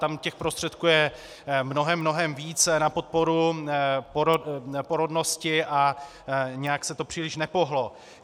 Tam těch prostředků je mnohem, mnohem více na podporu porodnosti a nějak se to příliš nepohnulo.